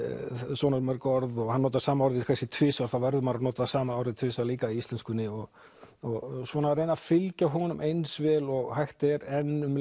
svona mörg orð og hann notar sama orðið kannski tvisvar þá verður maður að nota sama orðið tvisvar líka í íslenskunni og og svona reyna að fylgja honum eins vel og hægt er en um